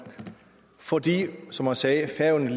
fordi som man sagde færøerne